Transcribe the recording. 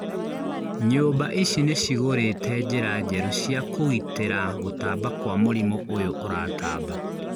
Nyũmba ici nĩcigũrĩte njĩra njerũ cia kũgitĩra gũtamba kwa mũrimũ ũyũ ũratamba